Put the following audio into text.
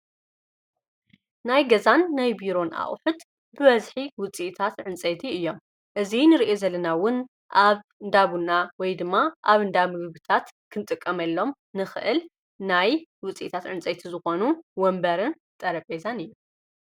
ናይ ገዛን ናይ ቢሮን አቅሑት ብበዝሒ ውፂእታት ዕንፀይቲ እዮም እዙይ ንርአ ዘለናውን ኣብ እንዳቡና ወይ ድማ ኣብ እንዳሚ ምግብታት ክንጥቀመሎም ንኽእል ናይ ውፂእታት ዕንፀይቲ ዝኾኑን ወንበርን ጠረጴዛን እየ።